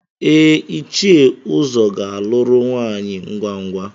Ee, Ichie Uzo ga-alụrụ nwunye ngwa ngwa.